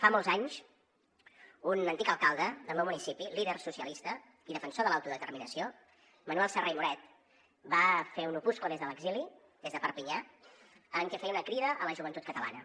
fa molts anys un antic alcalde del meu municipi líder socialista i defensor de l’autodeterminació manuel serra i moret va fer un opuscle des de l’exili des de perpinyà en què feia una crida a la joventut catalana